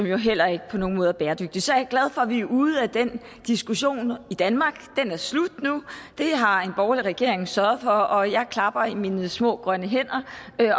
jo heller ikke på nogen måde er bæredygtigt så jeg er glad for at vi er ude af den diskussion i danmark den er slut nu det har en borgerlig regering sørget for og jeg klapper i mine små grønne hænder